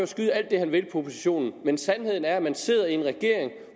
skyde alt det han vil på oppositionen men sandheden er at man sidder i en regering